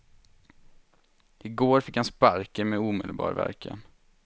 I går fick han sparken med omedelbar verkan.